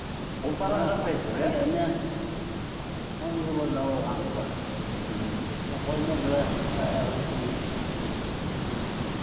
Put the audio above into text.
ұлтарақ жасайсыз иә мына он жыл болды ауырғаныма мхм бір қолым мен бір аяқ аяғым істемейді мхм